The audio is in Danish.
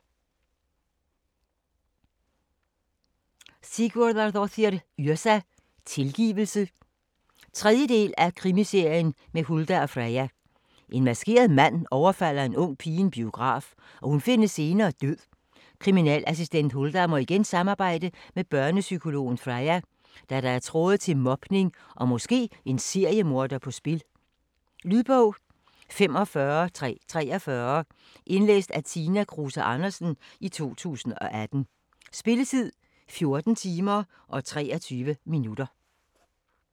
Yrsa Sigurðardóttir: Tilgivelse 3. del af Krimiserien med Huldar og Freyja. En maskeret mand overfalder en ung pige i en biograf, og hun findes senere død. Kriminalassistent Huldar må igen samarbejde med børnepsykologen Freya, da der er tråde til mobning og måske en seriemorder på spil. Lydbog 45343 Indlæst af Tina Kruse Andersen, 2018. Spilletid: 14 timer, 23 minutter.